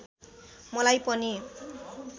मलाई पनि